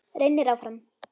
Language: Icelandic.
Reynir áfram.